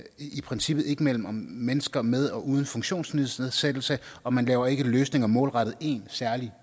i princippet ikke mellem mennesker med og uden funktionsnedsættelse og man laver ikke løsninger målrettet én særlig